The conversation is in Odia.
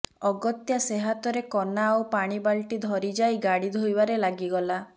ଅଗତ୍ୟା ସେହାତରେ କନା ଆଉ ପାଣିବାଲତି ଧରିଯାଇ ଗାଡ଼ି ଧୋଇବାରେ ଲାଗିଗଲା